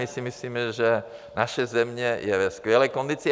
My si myslíme, že naše země je ve skvělé kondici.